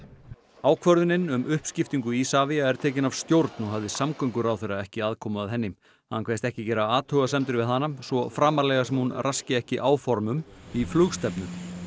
ákvörðunin um uppskiptingu Isavia er tekin af stjórn og hafði samgönguráðherra ekki aðkomu að henni hann kveðst ekki gera athugasemdir við hana svo framarlega sem hún raski ekki áformum í flugstefnu